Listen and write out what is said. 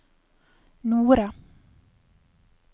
Nore